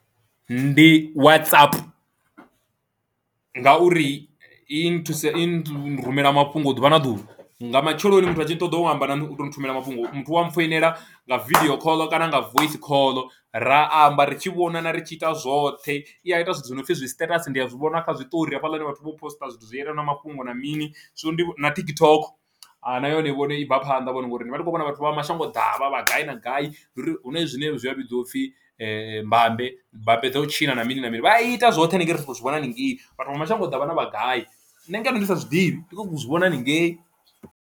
Ndi WhatsApp ngauri i nthusa i nrumela mafhungo ḓuvha na ḓuvha nga matsheloni muthu a tshi ṱoḓa u amba na u to nthumele mafhungo muthu wa mpfhoinela nga vidio call kana nga voice call ra amba ri tshi vhonana ri tshi ita zwoṱhe, i a ita zwithu zwi no pfhi zwi status ndi a zwi vhona kha zwiṱori hafhaḽani vhathu vho posiṱa zwithu zwi yelana na mafhungo na mini zwino. Ndi na TikTok na yone vhone i bva phanḓa vhone ngori ndivha ndi kho vhona vhathu vha mashango ḓavha avha vha gai na gai uri hu na zwine zwa vhidziwa upfhi mbambe mbambe dza u tshina na mini na mini vha ita zwoṱhe haningei ri khou zwi vhona haningei vhathu vha mashango ḓavha na vha gai nṋe ngeno ndi sa zwi ḓivhi ndi khou zwi vhona haningei.